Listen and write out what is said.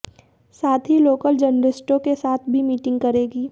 साथ ही लोकल जर्नलिस्टों के साथ भी मीटिंग करेगी